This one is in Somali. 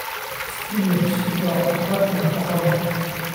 Spinach waa khudrad nafaqo leh.